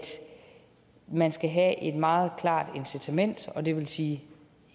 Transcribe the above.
man skal have et meget klart incitament og det vil sige